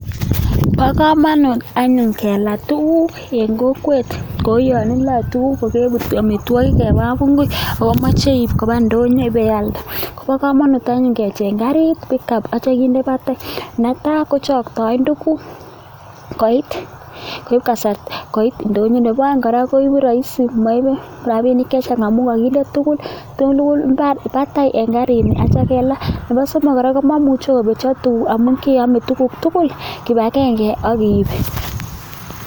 Bo komonut anyun kelaa tuguk en kokwet, kou yon iloe tuguk kogebut amitwogik en kapungui ago imoche iib koba ndonyo ibealde. Kobo komonut anyun kecheng karit pick-up ak kityo kinde batai. Netai kochoktoen tuguk koit ndonyo. Nebo oeng kora koigu rahisi moibe rabinik chechang amun koginde tuguk tugul batai en karini ak kityo kelaa. Nebo somok kora komomuche kobetyo tuguk amun keyome tuguk tugul kibagenge ak iib.